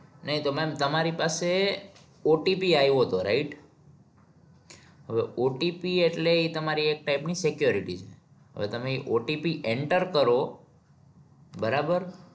નહિ તો ma'am તમારી પાસે OTP એવો હતો right હવે OTP એટલે ઈ તમારી એક type ની security છે હવે તમે OTP enter કરો બરાબર